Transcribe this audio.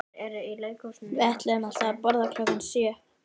Við ætluðum alltaf að borða klukkan sjö